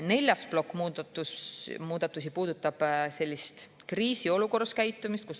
Neljas muudatuste plokk puudutab kriisiolukorras käitumist.